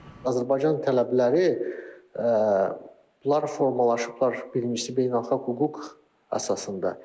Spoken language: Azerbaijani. Azərbaycan tələbləri bunlar formalaşıblar birincisi beynəlxalq hüquq əsasında.